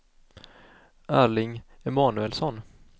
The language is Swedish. Erling Emanuelsson